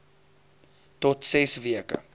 tot ses weke